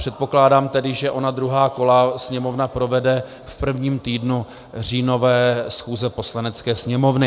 Předpokládám tedy, že ona druhá kola Sněmovna provede v prvním týdnu říjnové schůze Poslanecké sněmovny.